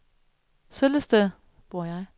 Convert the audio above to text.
Søllested